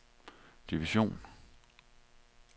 division